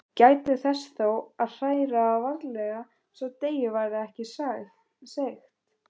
Gætið þess þó að hræra varlega svo deigið verði ekki seigt.